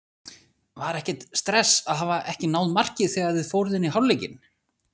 Var ekkert stress að hafa ekki náð marki þegar þið fóruð inn í hálfleikinn?